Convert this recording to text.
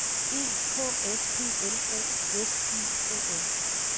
E K S P L O S I O N